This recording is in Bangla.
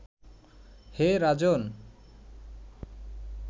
হে রাজন্